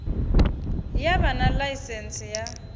ya vha na ḽaisentsi ya